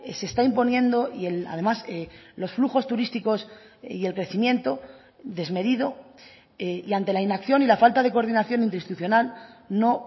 se está imponiendo y además los flujos turísticos y el crecimiento desmedido y ante la inacción y la falta de coordinación interinstitucional no